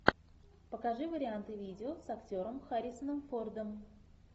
покажи варианты видео с актером харрисоном фордом